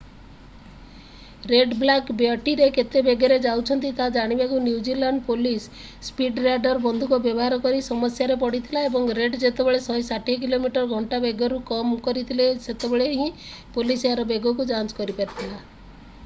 Red black ବ୍ୟଟିରେ କେତେ ବେଗରେ ଯାଉଛନ୍ତି ତାହା ଜାଣିବାକୁ new zealand police speed radar ବନ୍ଧୁକ ବ୍ୟବହାର କରି ସମସ୍ୟାରେ ପଡ଼ିଥିଲା ଏବଂ ରେଡ୍ ଯେତେବେଳେ 160କିମି/ଘଣ୍ଟା ବେଗରୁ କମ କରିଥିଲେ ସେତେବେଳେ ହିଁ ପୋଲିସ ଏହାର ବେଗକୁ ଯାଞ୍ଚ କରିପାରିଥିଲା।